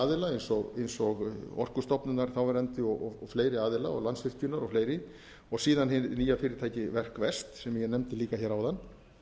aðila eins og orkustofnunar þáverandi og fleiri aðila landsvirkjunar og fleiri og síðan hið nýja fyrirtæki verkvest sem ég nefndi líka hér áðan